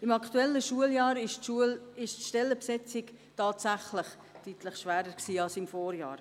Im aktuellen Schuljahr war die Stellenbesetzung tatsächlich deutlich schwieriger als im Vorjahr.